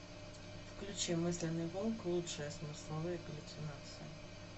включи мысленный волк лучшее смысловые галлюцинации